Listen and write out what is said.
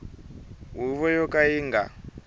huvo yo ka yi nga